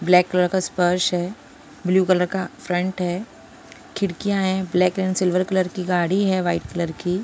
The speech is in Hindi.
ब्लैक कलर का स्पर्श है ब्लू कलर का फ्रंट है खिड़कियां है ब्लैक एंड सिल्वर कलर की गाड़ी है वाइट कलर की --